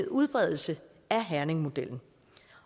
udbredelse af herningmodellen